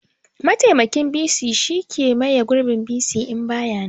Mataimakin bc shine ke maye gurbin bc in baya nan